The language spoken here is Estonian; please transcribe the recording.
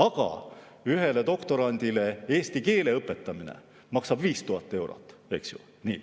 Aga ühele doktorandile eesti keele õpetamine maksab 5000 eurot, eks ju.